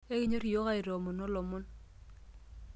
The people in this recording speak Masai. Ekinyorr iyiok aitoomono ilomon.